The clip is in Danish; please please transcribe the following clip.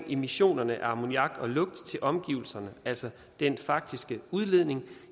emissionerne af ammoniak og lugt til omgivelserne altså den faktiske udledning